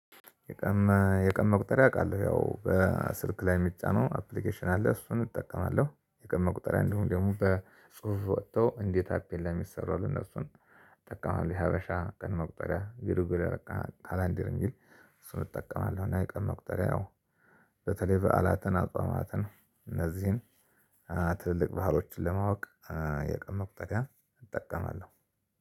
የቀን የቀን መቁጠሪያ አውቃለሁ ያው በስልክ ላይ የሚጫነው አፕሊኬሽን አለ እሱን እጠቀማለሁ። የቀን መቁጠሪያ እንዲሁም ደግሞ በጽሁፍ ወጥቶ እንዴት አፕ ላይ የሚሰራ እነሱን እጠቀማለው። የሀበሻ ቀን መቁጠሪያ ግርጎሪ ካላንደር የሚል እሱን እጠቀማለው። እና የቀን መቁጠሪያ ያው በተለይ በዓላትን አጽናተን እነዚህን ትልልቅ ባህሎችን ለማወቅ የቀን መቁጠሪያ እጠቀማለሁ።